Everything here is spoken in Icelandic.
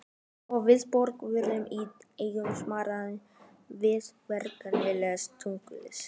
Og viðbrögðin voru í engu samræmi við varfærnisleg tengslin.